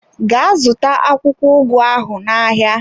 Gaa zụta akwụkwọ ugu ahụ n'ahịa!